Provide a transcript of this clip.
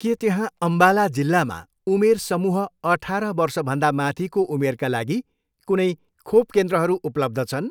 के त्यहाँ अम्बाला जिल्लामा उमेर समूह अठार वर्षभन्दा माथिको उमेरका लागि कुनै खोप केन्द्रहरू उपलब्ध छन्?